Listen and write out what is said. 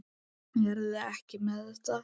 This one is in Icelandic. Eruð þið ekki með þetta?